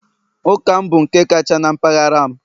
Ụka m bụ nke kacha na mpaghara m